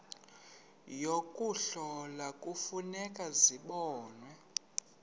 yokuhlola kufuneka zibonwe